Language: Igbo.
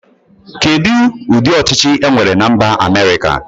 Kedu ụdị ọchịchi e nwere na mba Amerika.